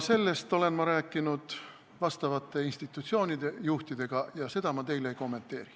Sellest olen ma rääkinud vastavate institutsioonide juhtidega ja seda ma teile ei kommenteeri.